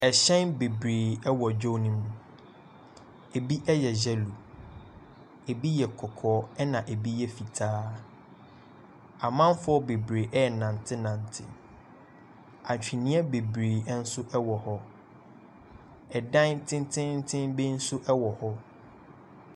ℇhyɛn bebiree wɔ dwa no mu. Ebi yɛ yellow, ebi yɛ kɔkɔɔ ɛna ebi yɛ fitaa. Amanfoɔ bebiree renantenante. Akyinniiɛ bebiree nso wɔ hɔ. ℇdan tententen bi nso wɔ hɔ.